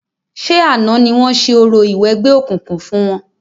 Ṣé àná ni wọ́n ṣe orò ìwẹgbẹ́ okùnkùn fún wọn?